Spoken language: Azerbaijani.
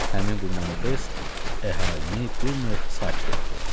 Həmin bu manifest əhalini bir növ sakit etdi.